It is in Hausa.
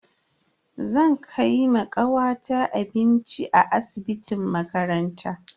Zan kai ma kawata abinci a asibitin makaranta.